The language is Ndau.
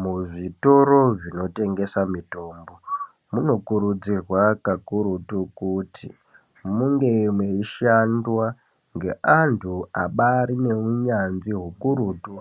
Muzvitoro zvinotengesa mitombo, munokurudzirwa kakurutu kuti munge meishandwa ngeantu abarine unyanzvi hukurutu